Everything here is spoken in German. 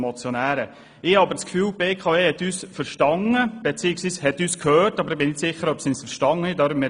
Ich habe den Eindruck, dass die BKW uns gehört hat, aber ich bin nicht sicher, ob sie uns auch verstanden hat.